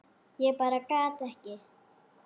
Ég bara gat ekki.